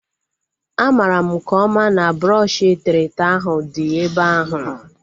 A mara m nke ọma na brọọshi eterete ahu dị ebe ahu